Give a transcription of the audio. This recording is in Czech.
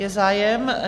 Je zájem?